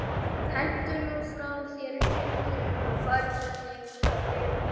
Hentu nú frá þér kyndlinum og færðu þig frá dyrunum